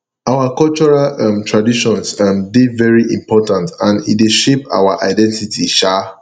our cultural um traditions um dey very important and e dey shape our identity um